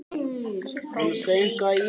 Kanntu eitthvað í íslensku?